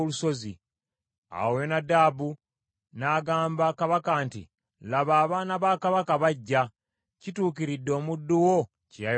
Awo Yonadabu n’agamba kabaka nti, “Laba abaana ba kabaka bajja; kituukiridde omuddu wo kye yayogedde.”